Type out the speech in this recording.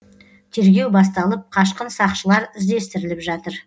тергеу басталып қашқын сақшылар іздестіріліп жатыр